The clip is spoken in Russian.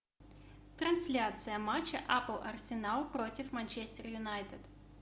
трансляция матча апл арсенал против манчестер юнайтед